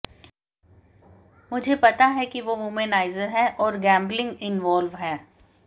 मुझे पता है कि वो वुमेनाइजर है और गैंबलिंग इंवॉल्व है